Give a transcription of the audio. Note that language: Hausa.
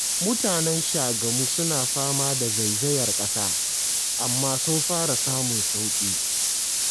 Mutanen Shagamu suna fama da zaizayar ƙasa, amma sun fara samun sauƙi